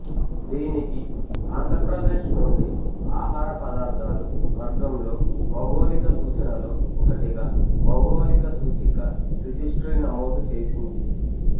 దీనికి ఆంధ్రప్రదేశ్ నుండి ఆహార పదార్థాలు వర్గంలో భౌగోళిక సూచనలో ఒకటిగా భౌగోళిక సూచిక రిజిస్ట్రీ నమోదు చేసింది